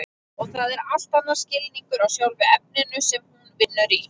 Og það er allt annar skilningur á sjálfu efninu sem hún vinnur í.